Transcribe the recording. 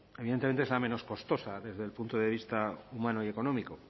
evidentemente es la menos costosa desde el punto de vista humano y económico